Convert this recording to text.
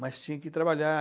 Mas tinha que trabalhar.